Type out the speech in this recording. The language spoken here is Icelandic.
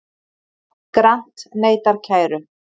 Grant neitar kæru